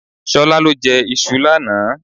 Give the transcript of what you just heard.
Ṣolá lọ jẹ iṣu lánàá.